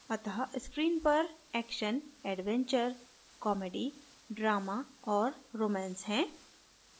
अत: screen पर action adventure comedy drama और romance है